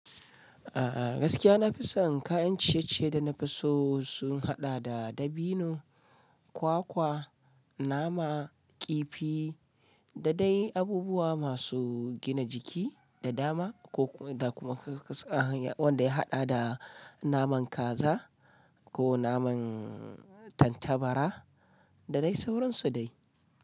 A'a gaskiya na fi son kayan ciye-ciye da na fi so sun haɗa da dabino, kwakwa, nama, kifi da dai abubuwa masu gina jiki da dama da kuma wanda ya haɗa da naman kaza ko naman tattabara da dai sauransu dai.